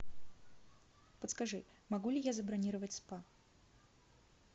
подскажи могу ли я забронировать спа